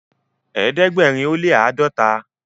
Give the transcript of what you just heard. ẹdẹgbẹrin o le ãdọta